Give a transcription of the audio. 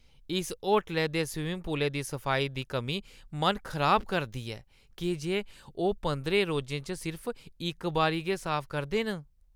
इस होटलै दे स्विंमिंग पूलै दी सफाई दी कमी मन खराब करदी ऐ की जे ओह् पंदरें रोजें च सिर्फ इक बारी गै साफ करदे न।